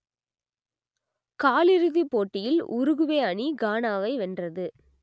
காலிறுதிப் போட்டியில் உருகுவே அணி கானாவை வென்றது